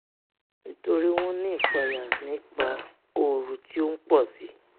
nítorí wọ́n ń ní ìpayà nípa ooru tí ó ń pọ̀si